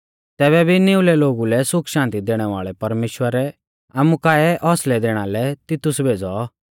तैबै भी निउलै लोगु लै सुखशान्ति दैणै वाल़ै परमेश्‍वरै आमु काऐ हौसलै दैणा लै तितुस भेज़ौ